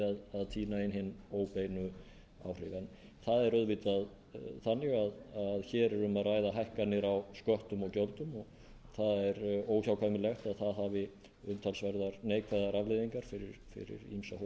að tína inn hin óbeinu áhrif en það er auðvitað þannig að hér er um að ræða hækkanir á sköttum og gjöldum og það er óhjákvæmilegt að það hafi umtalsverðar neikvæðar afleiðingar fyrir ýmsa hópa í samfélaginu